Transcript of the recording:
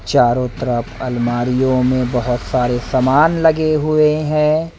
चारो तरफ अलमारीयो मे बहोत सारे सामान लगे हुए है।